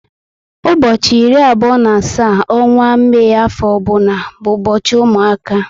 Ụbọchị iri abụo na asaá n'onwa Mai afo ọbụna bu ubochi ụmụaka